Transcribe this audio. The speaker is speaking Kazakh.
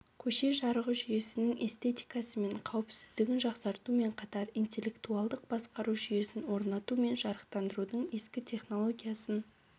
көше жарығы жүйесінің эстетикасы мен қауіпсіздігін жақсартумен қатар интеллектуалдық басқару жүйесін орнату мен жарықтандырудың ескі технологиясын